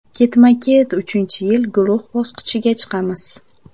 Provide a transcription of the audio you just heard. Ketma-ket uchinchi yil guruh bosqichiga chiqamiz.